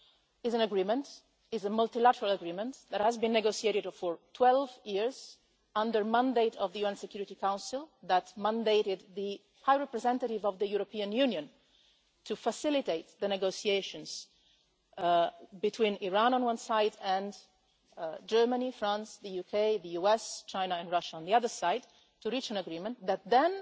It is a multilateral agreement that was negotiated for 12 years under the mandate of the UN Security Council, which mandated the High Representative of the European Union to facilitate the negotiations between Iran, on one side, and Germany, France, the UK, the US, China and Russia, on the other side, to reach an agreement that then